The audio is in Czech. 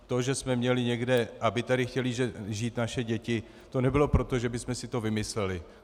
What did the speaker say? To, že jsme měli někde - aby tady chtěly žít naše děti - to nebylo proto, že bychom si to vymysleli.